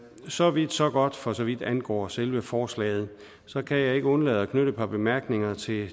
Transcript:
så vidt så godt for så vidt angår selve forslaget så kan jeg ikke undlade at knytte et par bemærkninger til